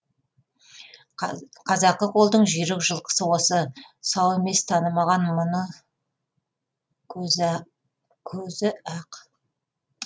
қазақы қолдың жүйрік жылқысы осы сау емес танымаған мұны көзі ақ